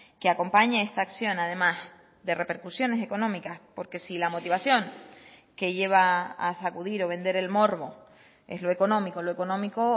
que acompañe esta acción además de repercusiones económicas porque si la motivación que lleva a sacudir o vender el morbo es lo económico lo económico